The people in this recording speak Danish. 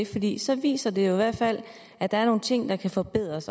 fordi så viser det jo i hvert fald at der er nogle ting der kan forbedres